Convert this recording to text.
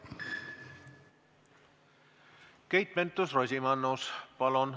Keit Pentus-Rosimannus, palun!